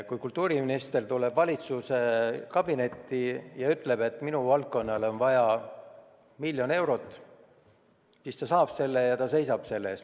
Kui kultuuriminister tuleb valitsuskabinetti ja ütleb, et minu valdkonnale on vaja miljon eurot, siis ta saab selle, ta seisab selle eest.